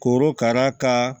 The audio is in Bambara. Korokara ka